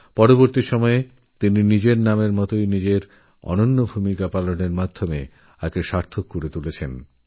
পরে তিনি নিজের নামের যথার্থ মহিমাটি প্রমাণ করে দেখিয়েছিলেন